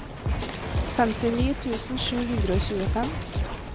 femtini tusen sju hundre og tjuefem